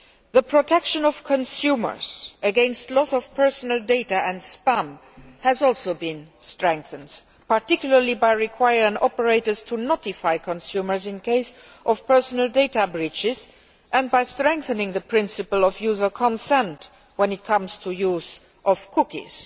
The protection of consumers against loss of personal data and against spam has also been strengthened, particularly by requiring operators to notify consumers in case of personal data breaches and by strengthening the principle of user consent when it comes to use of cookies.